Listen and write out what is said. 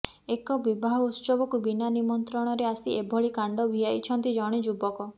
ଏକ ବିବାହ ଉତ୍ସବକୁ ବିନା ନିମନ୍ତ୍ରଣରେ ଆସି ଏପରି କାଣ୍ଡ ଭିଆଇଛନ୍ତି ଜଣେ ଯୁବକ